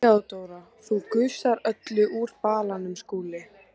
THEODÓRA: Þú gusar öllu úr balanum, Skúli!